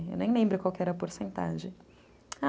Eu nem lembro qual que era a porcentagem.